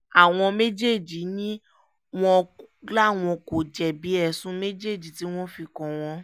àwọn méjèèjì ni wọ́n láwọn kò jẹ̀bi ẹ̀sùn méjèèjì tí wọ́n fi kàn wọ́n